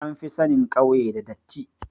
An fi sanin kauye da datti